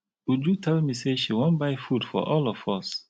uju tell me say she wan buy food for all of us